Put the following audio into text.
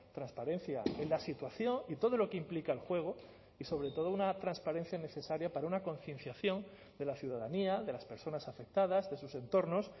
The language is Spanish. transparencia en la situación y todo lo que implica el juego y sobre todo una transparencia necesaria para una concienciación de la ciudadanía de las personas afectadas de sus entornos